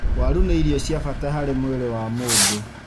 Waru nī irio cia bata harī mwīrī wa mūndū.